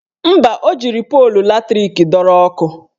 Mba, o jiri polu latrik dọrọ ọkụ